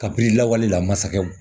Kabi lawale la masakɛ